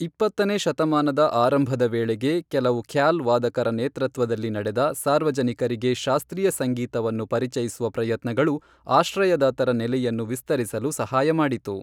ಇಪ್ಪತ್ತನೇ ಶತಮಾನದ ಆರಂಭದ ವೇಳೆಗೆ, ಕೆಲವು ಖ್ಯಾಲ್ ವಾದಕರ ನೇತೃತ್ವದಲ್ಲಿ ನಡೆದ ಸಾರ್ವಜನಿಕರಿಗೆ ಶಾಸ್ತ್ರೀಯ ಸಂಗೀತವನ್ನು ಪರಿಚಯಿಸುವ ಪ್ರಯತ್ನಗಳು, ಆಶ್ರಯದಾತರ ನೆಲೆಯನ್ನು ವಿಸ್ತರಿಸಲು ಸಹಾಯ ಮಾಡಿತು.